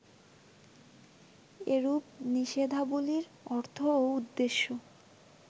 এরূপ নিষেধাবলির অর্থ ও উদ্দেশ্য